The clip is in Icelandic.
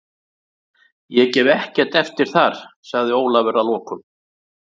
Ég gef ekkert eftir þar, sagði Ólafur að lokum.